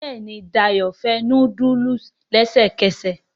Béèni Dayo fè nudulu lẹsẹkẹsẹ.